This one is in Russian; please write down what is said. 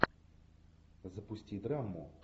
запусти драму